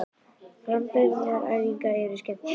Framburðaræfingarnar eru skemmtilegar.